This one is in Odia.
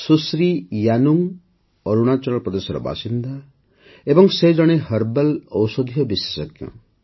ସୁଶ୍ରୀ ୟାନୁଙ୍ଗ୍ ଅରୁଣାଚଳ ପ୍ରଦେଶର ବାସିନ୍ଦା ଓ ସେ ଜଣେ ହର୍ବାଲ୍ ଔଷଧୀୟ ବିଶେଷଜ୍ଞ